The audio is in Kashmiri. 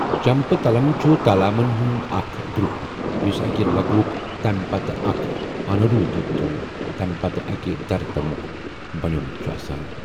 جھمپہ تلم چھُ تالامن ہُنٛد اکھ گروپ یُس اکہِ لغوُک تٔمہِ پتہٕ اکہِ انودھرتمُک، تٔمہِ پتہٕ اکہِ دھرتمُک بَنیوٚمُت چھُ آسان ۔